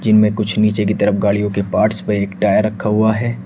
इनमें कुछ नीचे की तरफ गाड़ियों के पार्ट्स पे एक टायर रखा हुआ है।